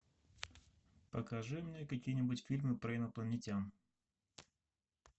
покажи мне какие нибудь фильмы про инопланетян